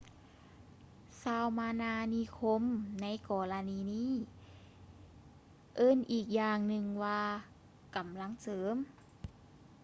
ຊາວມານານິຄົມໃນກໍລະນີນີ້ເອີ້ນອີີກຢ່າງໜຶ່ງວ່າກຳລັງເສີມ